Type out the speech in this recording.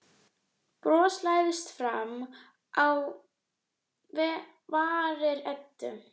Bros læðist fram á varir Eddu.